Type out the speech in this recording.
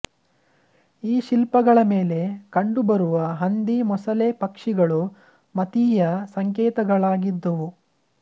ಈ ಶಿಲ್ಪಗಳ ಮೇಲೆ ಕಂಡುಬರುವ ಹಂದಿ ಮೊಸಳೆ ಪಕ್ಷಿಗಳು ಮತೀಯ ಸಂಕೇತಗಳಾಗಿದ್ದುವು